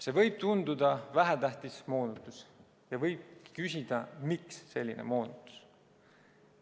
See võib tunduda vähetähtis moonutus ja võib küsida, miks selline moonutus.